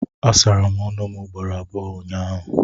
Asara m ọnụ ugboro abụọ ụnyahụ